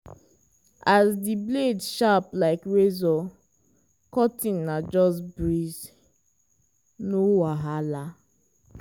as di blade sharp like razor cutting na just breeze—no wahala.